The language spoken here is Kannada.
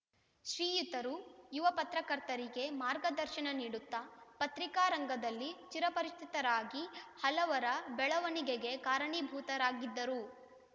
ಶ್ರೀಯುತರು ಯುವ ಪತ್ರಕರ್ತರಿಗೆ ಮಾರ್ಗದರ್ಶನ ನೀಡುತ್ತಾ ಪತ್ರಿಕಾ ರಂಗದಲ್ಲಿ ಚಿರಪರಿಚಿತರಾಗಿ ಹಲವರ ಬೆಳವಣಿಗೆಗೆ ಕಾರಣೀಭೂತರಾಗಿದ್ದರು